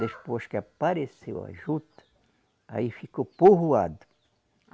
Depois que apareceu a juta, aí ficou povoado.